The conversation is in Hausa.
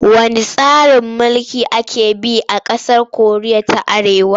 Wanne tsarin mulki ake bi a ƙasar Koriya ta Arewa?